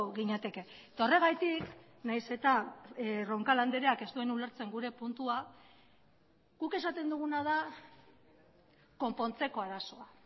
ginateke eta horregatik nahiz eta roncal andreak ez duen ulertzen gure puntua guk esaten duguna da konpontzeko arazoa